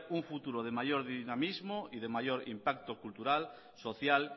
un futuro de mayor dinamismo y de mayor impacto cultural social